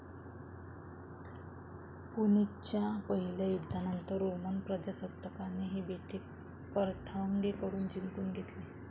पुनिच्च्या पहिल्या युद्धानंतर रोमन प्रजासत्ताकाने ही बेटे कॅर्थागेकडून जिंकून घेतली.